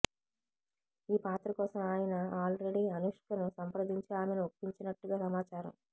ఈ పాత్ర కోసం ఆయన ఆల్రెడీ అనుష్కను సంప్రదించి ఆమెను ఒప్పించినట్టుగా సమాచారం